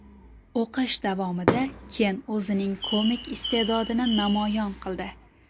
O‘qish davomida Ken o‘zining komik iste’dodini namoyon qildi.